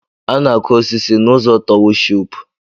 A na-akụ osisi n’ụzọ na towushipu